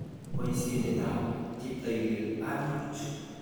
Boisiondetab cheptailel ami buch.